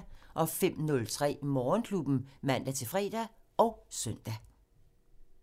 05:03: Morgenklubben (man-fre og søn)